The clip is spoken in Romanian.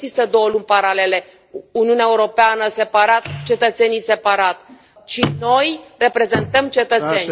Nu există două lumi paralele, Uniunea Europeană separat, cetățenii separat, ci noi reprezentăm cetățeni.